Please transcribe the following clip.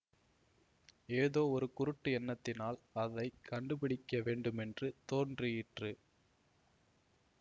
ஏதோ ஒரு குருட்டு எண்ணத்தினால் அதை கண்டுபிடிக்க வேண்டுமென்று தோன்றிற்று